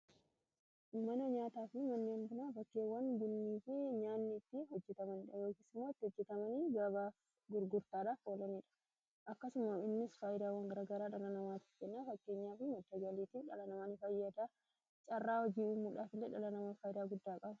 manoo nyaataa fi manniamnaa fakkeewwan bunniifi nyaanniitti hojjetamandhayookisimootti hojjetamanii gabaa gurgurtaadhaaf oolaniidha akkasuma innis faayidaawwan garagaraa dhalanamaatif kennaa fakkee nyaafi matajwaliitiif dhalanamaani fayyadaa caarraa hojii'uu mudhaafile dhalanamaa faayidaa guddaa qabu